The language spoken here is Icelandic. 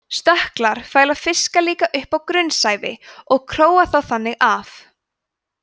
stökklar fæla fiska líka upp á grunnsævi og króa þá þannig af